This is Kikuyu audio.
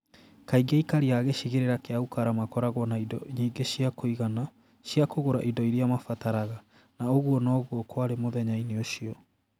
Kaingĩ aikari a gĩcigĩrĩra kĩa Ukara makoragwo na indo nyingĩ cia kũigana cia kũgũra indo iria mabataraga, na ũguo noguo kwarĩ mũthenya-inĩ ũcio.